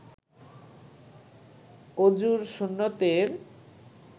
অযুর সুন্নতের